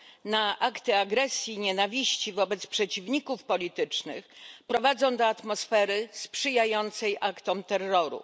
na akty agresji i nienawiści wobec przeciwników politycznych prowadzą do atmosfery sprzyjającej aktom terroru.